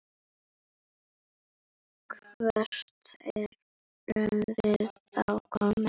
Hvert erum við þá komin?